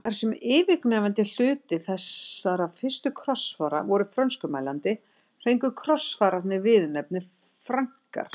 Þar sem yfirgnæfandi hluti þessara fyrstu krossfara voru frönskumælandi fengu krossfararnir viðurnefnið Frankar.